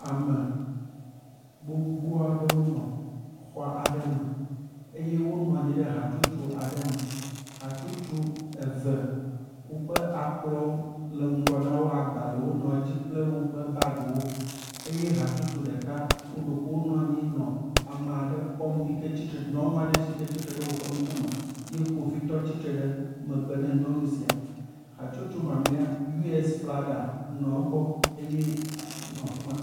Ame gbogbo aɖewo nɔ xɔa aɖe me eye wonɔ anyi ɖe hatsotso aɖe me. Hatsotso eve woƒe akplɔwo le ŋgɔ na wo, agbalẽwo le edzi kple woƒe bagiwo, eye hatsotso ɖeka, ɖeko wonɔ anyi nɔ amea ɖe kpɔm yike tsitre, nyɔnu aɖe yike tsitre ɖe woƒe ŋkume ye kpovitɔ tsitre ɖe megbe ne nyɔnu sia, hatsotso mamlɛa, US flaga nɔ egbɔ eye nɔ afi ma.